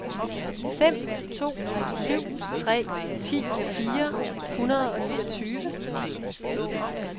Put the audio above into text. fem to syv tre ti fire hundrede og niogtyve